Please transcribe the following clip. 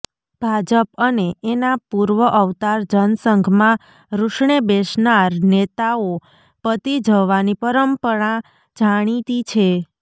ભાજપ અને એના પૂર્વ અવતાર જનસંઘમાં રૂસણે બેસનાર નેતાઓ પતી જવાની પરંપરા જાણીતી છે